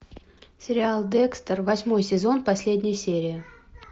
сериал декстер восьмой сезон последняя серия